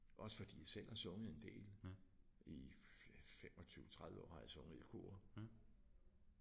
Også fordi jeg selv har sunget en del i 25 30 år har jeg sunget i kor